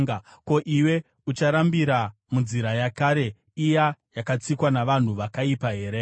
Ko, iwe ucharambira munzira yakare iya yakatsikwa navanhu vakaipa here?